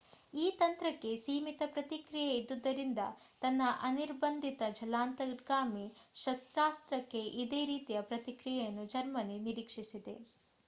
ಈ ತಂತ್ರಕ್ಕೆ ಸೀಮಿತ ಪ್ರತಿಕ್ರಿಯೆ ಇದ್ದುದರಿಂದ ತನ್ನ ಅನಿರ್ಬಂಧಿತ ಜಲಾಂತರ್ಗಾಮಿ ಶಸ್ತ್ರಾಸ್ತ್ರಕ್ಕೆ ಇದೇ ರೀತಿಯ ಪ್ರತಿಕ್ರಿಯೆಯನ್ನು ಜರ್ಮನಿ ನಿರೀಕ್ಷಿಸಿದೆ